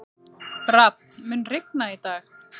Rafn, mun rigna í dag?